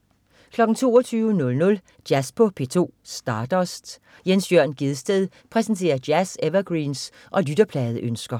22.00 Jazz på P2. Stardust. Jens Jørn Gjedsted præsenterer jazz-evergreens og lytterpladeønsker